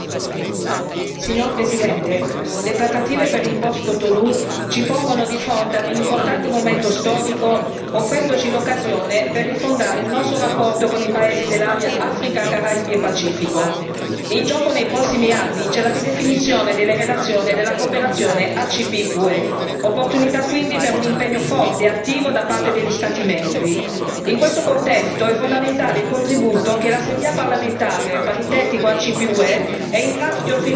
Signor Presidente, onorevoli colleghi, le trattative per il post Cotonou ci pongono di fronte ad un importante momento storico, offrendoci l'occasione per rifondare il nostro rapporto con i paesi dell'area Africa, Caraibi e Pacifico. In gioco nei prossimi anni c'è la ridefinizione delle relazioni e della cooperazione ACP UE, opportunità quindi per un impegno forte e attivo da parte degli Stati membri. In questo contesto è fondamentale il contributo che l'Assemblea parlamentare paritetica ACP UE è in grado di offrire al dibattito.